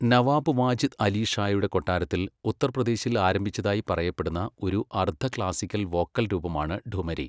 നവാബ് വാജിദ് അലി ഷായുടെ കൊട്ടാരത്തിൽ ഉത്തർപ്രദേശിൽ ആരംഭിച്ചതായി പറയപ്പെടുന്ന ഒരു അർദ്ധ ക്ലാസിക്കൽ വോക്കൽ രൂപമാണ് ഠുമരി.